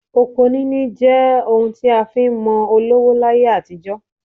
Oko níní jẹ́ ohun tí a fi ń mọ olówó láyé àtijọ́